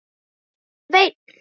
En Sveinn